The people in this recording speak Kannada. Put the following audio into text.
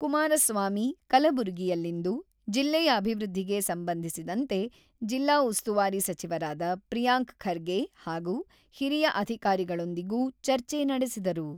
ಕುಮಾರಸ್ವಾಮಿ ಕಲಬುರಗಿಯಲ್ಲಿಂದು ಜಿಲ್ಲೆಯ ಅಭಿವೃದ್ಧಿಗೆ ಸಂಬಂಧಿಸಿದಂತೆ ಜಿಲ್ಲಾ ಉಸ್ತುವಾರಿ ಸಚಿವರಾದ ಪ್ರಿಯಾಂಕ ಖರ್ಗೆ ಹಾಗೂ ಹಿರಿಯ ಅಧಿಕಾರಿಗಳೊಂದಿಗೂ ಚರ್ಚೆ ನಡೆಸಿದರು.